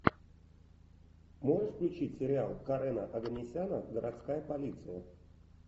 можешь включить сериал карена оганесяна городская полиция